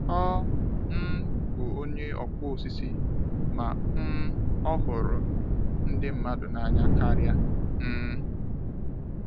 Ọ um bụ onye ọkpụ osisi, ma um ọ ghụrụ ndị mmadụ na anya karịa. um